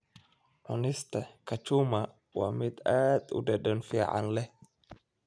Cunista kachuma waa mid aad u dhadhan fiican leh.